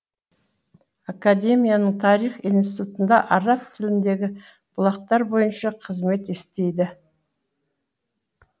академияның тарих институтында араб тіліндегі бұлақтар бойынша қызмет істейді